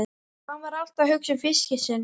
Hann var alltaf að hugsa um fiskinn sinn.